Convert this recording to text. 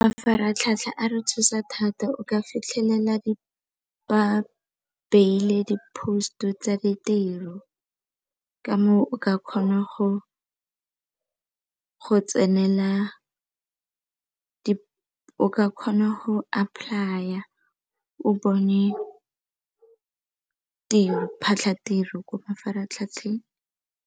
Mafaratlhatlha a re thusa thata, o ka fitlhelela ba beile di-post-u tsa ditiro ka moo o ka kgona go apply-a o bone diphatlhatiro ko mafaratlhatlheng.